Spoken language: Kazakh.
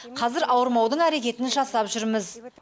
қазір ауырмаудың әрекетін жасап жүрміз